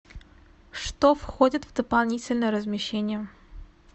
что входит в дополнительное размещение